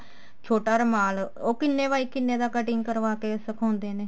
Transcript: ਛੋਟਾ ਰੁਮਾਲ ਉਹ ਕਿੰਨੇ ਬਾਏ ਕਿੰਨੇ ਦਾ cutting ਕਰਵਾ ਕੇ ਸਿਖਾਉਂਦੇ ਨੇ